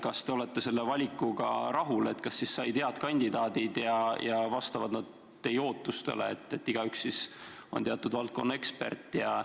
Kas te olete selle valikuga rahul – kas said head kandidaadid, kes vastavad teie ootustele, et igaüks on teatud valdkonna ekspert?